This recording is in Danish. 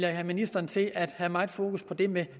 have ministeren til at have meget fokus på det med